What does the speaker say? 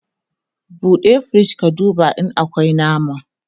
ɓuɗe firij ka duba in akwi nama!